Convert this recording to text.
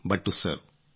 but to serve